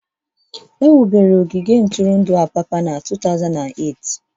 Ewubere ogige ntụrụndụ Apapa na 2008